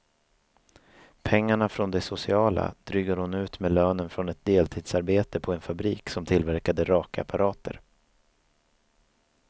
Pengarna från det sociala drygade hon ut med lönen från ett deltidsarbete på en fabrik som tillverkade rakapparater.